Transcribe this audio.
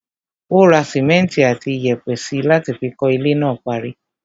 Ó ra simẹnti àti iyẹ̀pẹ̀ síi láti fi kọ́ ilé náà parí.